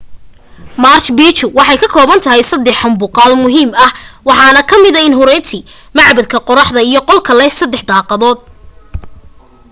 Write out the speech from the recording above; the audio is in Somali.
marchu picchu waxay ka koobantahay saddex habmuqaal muhiim ah waxaana kamida intihuatana macbadka qoraxda iyo qolka leh saddexda daaqadood